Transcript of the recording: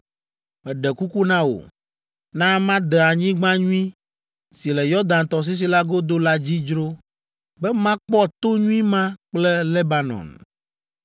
Meɖe kuku na wò, na made anyigba nyui si le Yɔdan tɔsisi la godo la dzi dzro, be makpɔ to nyui ma kple Lebanon.”